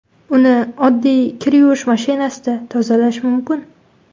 Uni oddiy kir yuvish mashinasida tozalash mumkin.